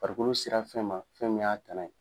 Farikolo sera fɛn ma fɛn min y'a tana ye